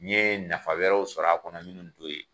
N ye nafa wɛrɛw sɔrɔ a kɔnɔ minnu t'o ye.